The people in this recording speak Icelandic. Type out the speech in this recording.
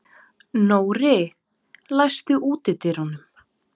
Nóri, læstu útidyrunum.